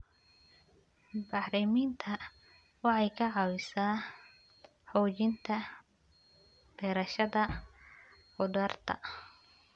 Bacriminta waxay ka caawisaa xoojinta beerashada khudaarta.